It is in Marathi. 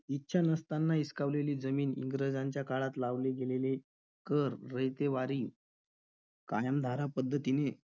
इच्छा नसताना हिसकावलेली जमीन, इंग्रजांच्या काळात लावले गेलेले कर, रयतेवारी कायमधारा पद्धतीने,